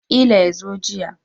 Ƙila yazo jiya